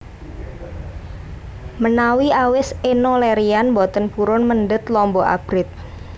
Menawi awis Enno Lerian mboten purun mendhet lombok abrit